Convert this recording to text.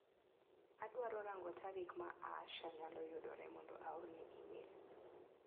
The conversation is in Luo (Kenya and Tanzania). Adwaro rang'o tarik ma Aasha nyalo yudore mondo aorne imel.